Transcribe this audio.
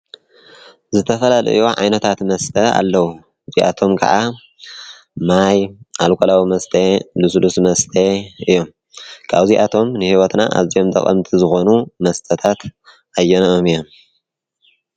ዝተፈላልዮ ዓይነታት መስተ ኣለዉ። እዚኣቶም ከዓ ማይ፣ ኣልኮላዊ መስተ፣ ልሱልስ መስተ እዮም። ኣብ እዚኣቶም ንሕይወትና ኣዚኦም ጠቐምቲ ዝኾኑ መስተታት ኣየነኦም እዮም?